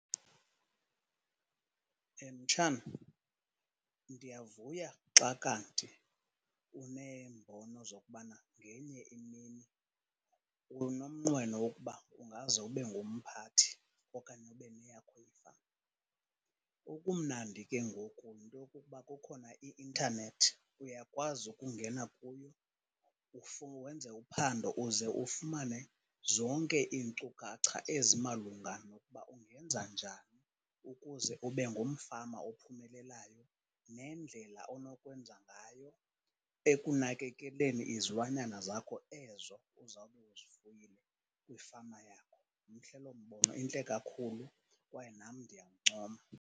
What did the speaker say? Mtshana, ndiyavuya xa kanti uneembono zokubana ngenye imini unomnqweno woba ungaze ubengumphathi okanye ube neyakho ifama. Okumnandi ke ngoku yinto yokuba kukhona i-intanethi. Uyakwazi ukungena kuyo wenze uphando uze ufumane zonke iinkcukacha ezimalunga noba ungenza njani ukuze ubengumfama ophumelelayo. Nendlela onokwenza ngayo ekunakekeleni izilwanyana zakho ezo uzawube uzifuyile kwifama yakho. Mhle loo mbono, intle kakhulu kwaye nam ndiyakuncoma.